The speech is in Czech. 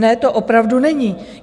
Ne, to opravdu není.